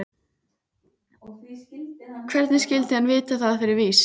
Hvernig skyldi vera að vita það fyrir víst.